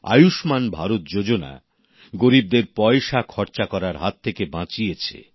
আয়ুষ্মান ভারত যোজনা গরিবদের পয়সা খরচা করার হাত থেকে বাঁচিয়েছে